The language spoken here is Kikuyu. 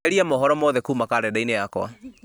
eheria mohoro mothe kuma karenda-inĩ yakwa